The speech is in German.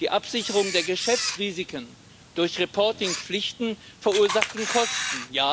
Die Absicherung der Geschäftsrisiken durch Reporting Pflichten verursacht Kosten.